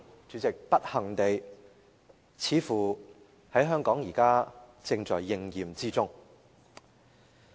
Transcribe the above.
主席，不幸地，似乎香港現時正在應驗這個畫面。